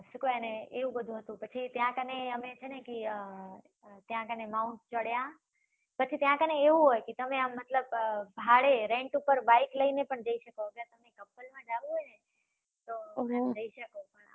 શું કેવાય એને? એવુ બધુ હતુ. પછી ત્યાં કને, અમે છે ને કે, અમ ત્યાં કને mount ચડ્યા. પછી ત્યાં કને એવુ હોય કે તમે આમ મતલબ, ભાડે rent ઉપર બાઈક લઈને પણ જઈ શકો. couple માં જાવુ હોય ને, તો તમે જઈ શકો